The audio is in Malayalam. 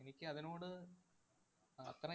എനിക്കതിനോട് അഹ് അത്രയും